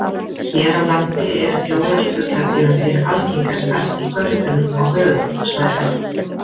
Hér á landi eru fjórar fuglategundir algengastar í görðum á höfuðborgarsvæðinu.